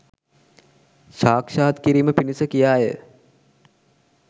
සාක්ෂාත් කිරීම පිණිස කියා ය